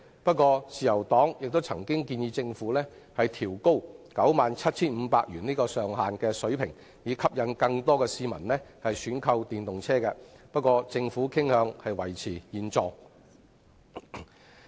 雖然自由黨亦曾建議政府調高 97,500 元的上限，以吸引更多市民選購電動車輛，政府卻傾向維持現狀。